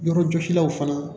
Yɔrɔjɔsilaw fana